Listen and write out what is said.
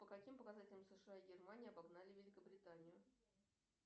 по каким показателям сша и германия обогнали великобританию